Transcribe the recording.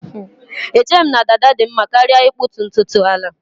Echeghị m na dada dị mma karịa ịkpụtu ntutu ala